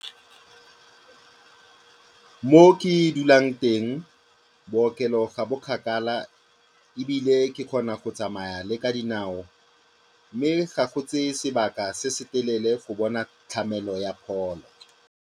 Mo ke dulang teng bookelo ga bo kgakala ebile ke kgona go tsamaya le ka dinao mme ga go tseye sebaka se se telele go bona tlamelo ya pholo.